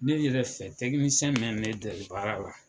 Ne yɛrɛ fɛ mɛn ne deli baara la